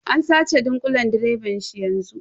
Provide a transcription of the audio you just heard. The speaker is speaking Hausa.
An sace dunƙulen direban shi yanzu.